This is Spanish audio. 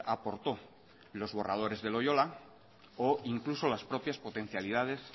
aportó en los borradores de loyola o incluso las propias potencialidades